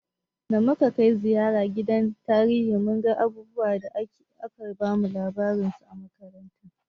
Da muka kai ziyara gidan tarihi mun ga abubuwan da ake bamu labarin su a makaranta.